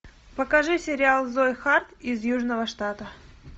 покажи сериал зои харт из южного штата